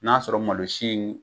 N'a sɔrɔ malosi in